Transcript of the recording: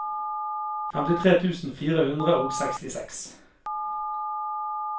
femtitre tusen fire hundre og sekstiseks